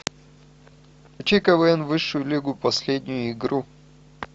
включи квн высшую лигу последнюю игру